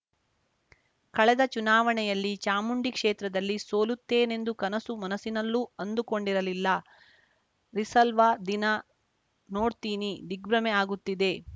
ಕಳೆದ ಚುನಾವಣೆಯಲ್ಲಿ ಚಾಮುಂಡಿ ಕ್ಷೇತ್ರದಲ್ಲಿ ಸೋಲುತ್ತೇನೆಂದು ಕನಸು ಮನಸಿನಲ್ಲೂ ಅಂದುಕೊಂಡಿರಲಿಲ್ಲ ರಿಸಲ್ವ ದಿನ ನೋಡ್ತೀನಿ ದಿಗ್ಭ್ರಮೆ ಆಗುತ್ತಿದೆ